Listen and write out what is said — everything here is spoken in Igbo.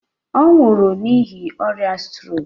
Ọ nwụrụ n'ihi ọrịa strok.